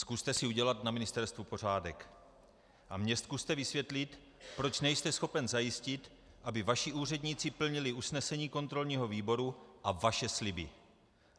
Zkuste si udělat na ministerstvu pořádek a mně zkuste vysvětlit, proč nejste schopen zajistit, aby vaši úředníci plnili usnesení kontrolního výboru a vaše sliby.